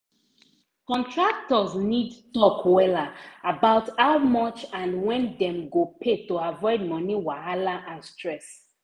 contractors need talk wella about how much and when dem go pay to avoid moni wahala and stress.